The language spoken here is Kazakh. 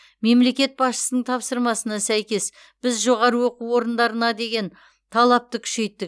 мемлекет басшысының тапсырмасына сәйкес біз жоғары оқу орындарына деген талапты күшейттік